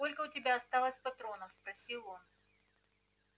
сколько у тебя осталось патронов спросил он